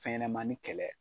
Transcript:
Fɛn ɲɛnɛmani kɛlɛ